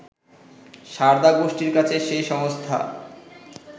সারদা গোষ্ঠীর কাছে সেই সংস্থা